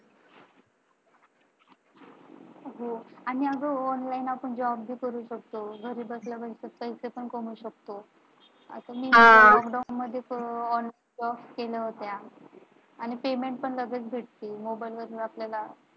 हो आणि online आपण Job पण करू शकतो. घरी बसल्या बसल्या पैसे पण कमाऊ शकतो. आता मी Lockdown मध्ये online केल्या होत्या आणि Payment पण लगेच भेटत मोबाईल वरून आपल्याला.